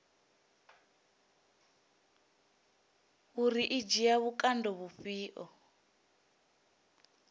uri i dzhia vhukando vhufhio